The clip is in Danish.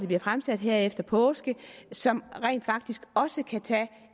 bliver fremsat her efter påske som rent faktisk også kan tage